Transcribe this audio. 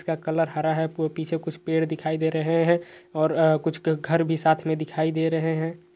इसका कलर हरा है। पीछे कुछ पेड़ दिखाई दे रहे हैं और अ कुछ क घर भी साथ में दिखाई दे रहे हैं।